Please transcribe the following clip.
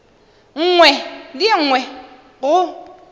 nngwe le ye nngwe go